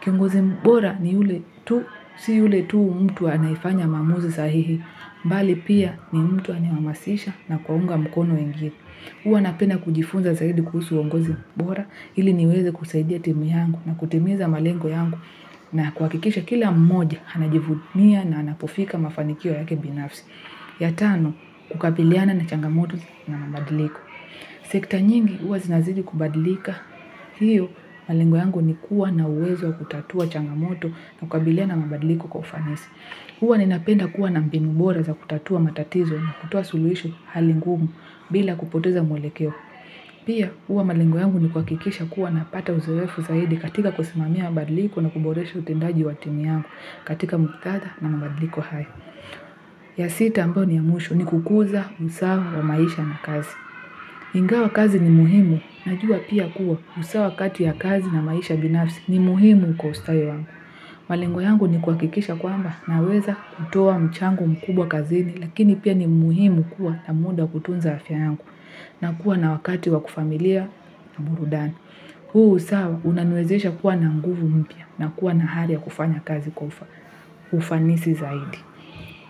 Kiongozi bora ni yule tu, si yule tu mtu anayefanya maamuzi sahihi, bali pia ni mtu anayehamasisha na kuwaunga mkono wengine. Huwa napenda kujifunza zaidi kuhusu uongozi bora, ili niweze kusaidia timu yangu na kutimiza malengo yangu na kuhakikisha kila mmoja, anajivunia na anapofika mafanikio yake binafsi. Ya tano, kukabiliana na changamoto na mabadiliko. Sekta nyingi huwa zinazidi kubadilika. Hiyo, malengo yangu ni kuwa na uwezo wa kutatua changamoto na kukabiliana na mabadiliko kwa ufanisi. Huwa ninapenda kuwa na mbinu bora za kutatua matatizo na kutoa suluhisho hali ngumu bila kupoteza mwelekeo. Pia, huwa malengo yangu ni kuhakikisha kuwa napata uzoefu zaidi katika kusimamia mabadiliko na kuboresha utendaji wa timu yangu katika muktadha na mabadiliko haya. Ya sita ambayo ni ya mwisho ni kukuza usawa wa maisha na kazi. Ingawa kazi ni muhimu. Najua pia kuwa usawa kati ya kazi na maisha binafsi ni muhimu kwa ustawi wangu. Malengo yangu ni kuhakikisha kwamba naweza kutoa mchango mkubwa kazini. Lakini pia ni muhimu kuwa na muda wa kutunza afya yangu. Na kuwa na wakati wa kifamilia na burudani. Huu usawa unaniwezesha kuwa na nguvu mpya na kuwa na hali ya kufanya kazi kwa ufanisi zaidi.